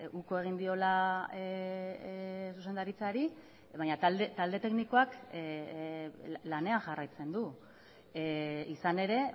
uko egin diola zuzendaritzari baina talde teknikoak lanean jarraitzen du izan ere